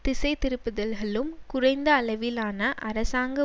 திசைதிருப்புதல்களும் குறைந்த அளவிலான அரசாங்க